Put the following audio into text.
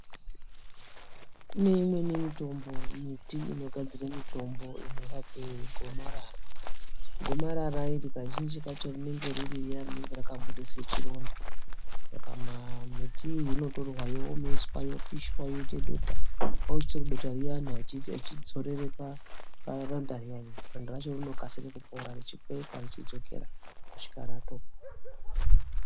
Kuneimweni mitombo, miti inogadzire mitombo inorape gomarara ,gomarara iri kazhinji kacho rinenge riri riya rinenge rakakure sechironda. Saka miti iyi inotorwa yowomeswa yopishwa yoite dota, kwakuchitora dotariyana echidzorere paronda riyariya, ronda racho rinokasire kupora richipepa richidzokera kusvika ratopora.